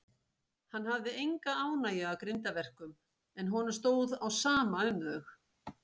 Hann hafði enga ánægju af grimmdarverkum, en honum stóð á sama um þau.